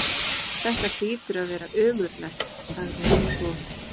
Þetta hlýtur að vera ömurlegt sagði hann svo.